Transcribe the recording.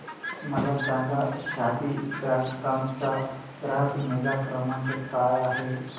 मला सांगा Shaadi dot com चा ग्राहक निगा क्रमांक काय आहे